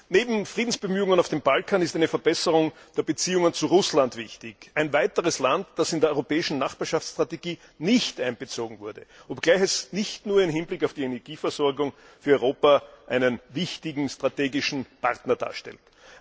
Neben Friedensbemühungen auf dem Balkan ist eine Verbesserung der Beziehungen zu Russland wichtig, ein weiteres Land, das in die europäische Nachbarschaftsstrategie nicht einbezogen wurde, obgleich es nicht nur im Hinblick auf die Energieversorgung für Europa einen wichtigen strategischen Partner darstellt.